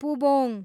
पुबोङ